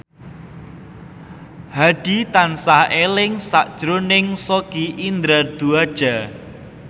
Hadi tansah eling sakjroning Sogi Indra Duaja